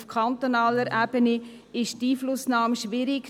Auf kantonaler Ebene ist die Einflussnahme schwierig.